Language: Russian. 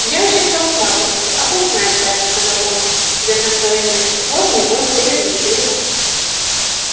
ямщик стал всматриваться а бог знает барин сказал он садясь на своё место воз не воз дерево не дерево